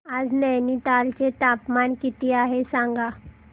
आज नैनीताल चे तापमान किती आहे सांगा